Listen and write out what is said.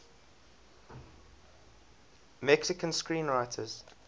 mexican screenwriters